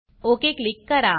okay click करा